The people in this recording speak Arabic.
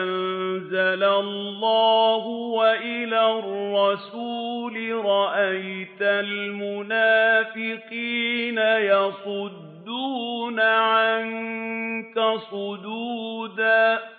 أَنزَلَ اللَّهُ وَإِلَى الرَّسُولِ رَأَيْتَ الْمُنَافِقِينَ يَصُدُّونَ عَنكَ صُدُودًا